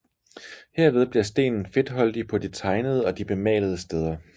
Herved bliver stenen fedtholdig på de tegnede og bemalede steder